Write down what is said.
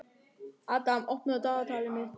Adam, opnaðu dagatalið mitt.